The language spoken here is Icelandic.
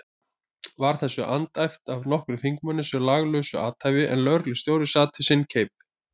Var þessu andæft af nokkrum þingmönnum sem löglausu athæfi, en lögreglustjóri sat við sinn keip.